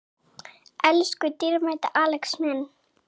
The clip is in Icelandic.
Elsku dýrmæti Axel minn.